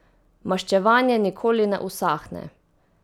Maščevanje nikoli ne usahne.